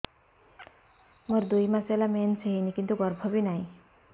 ମୋର ଦୁଇ ମାସ ହେଲା ମେନ୍ସ ହେଇନି କିନ୍ତୁ ଗର୍ଭ ବି ନାହିଁ